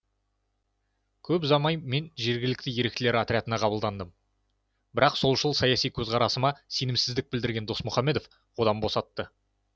көп ұзамай мен жергілікті еріктілер отрядына қабылдандым бірақ солшыл саяси көзқарасыма сенімсіздік білдірген досмұхамедов одан босатты